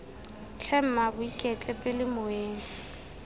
tlhe mmaabo iketle pele moeng